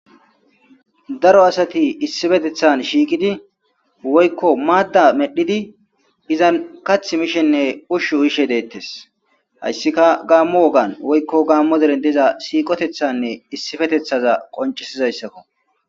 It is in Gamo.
daro asati issifetethan shiiqidi woykko maadda medhidi izan kath mishenne ushshu uishe deettes hayssika gaammu wogan woykko gaammo deren diza siiqotethanne issifetethaza qoncisizayssakko